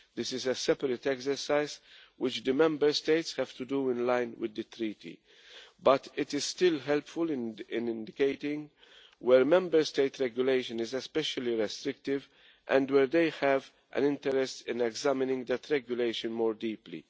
This is a separate exercise which the Member States have to do in line with the Treaty, but it is still helpful in indicating where Member State regulation is especially restrictive and where they have an interest in examining that regulation more deeply.